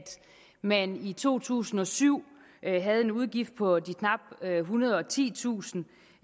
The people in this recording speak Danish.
man i to tusind og syv havde en udgift på de knap ethundrede og titusind